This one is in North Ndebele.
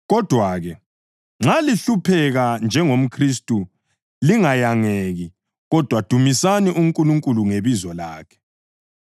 Kodwa-ke, nxa lihlupheka njengomKhristu, lingayangeki, kodwa dumisani uNkulunkulu ngebizo lakhe.